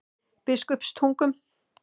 Biskupstungum